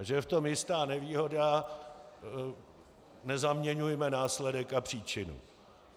A že je v tom jistá nevýhoda - nezaměňujme následek a příčinu.